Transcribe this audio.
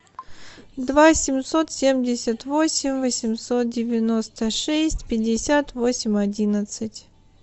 два семьсот семьдесят восемь восемьсот девяносто шесть пятьдесят восемь одиннадцать